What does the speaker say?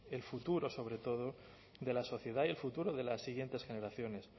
el futuro sobre todo de la sociedad y el futuro de las siguientes generaciones